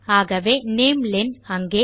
ஆகவே நாமெலென் அங்கே